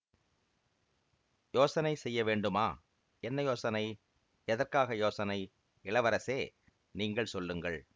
யோசனை செய்ய வேண்டுமா என்ன யோசனை எதற்காக யோசனை இளவரசே நீங்கள் சொல்லுங்கள்